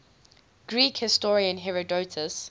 greek historian herodotus